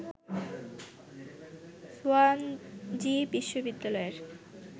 Swansea বিশ্ববিদ্যালয়ের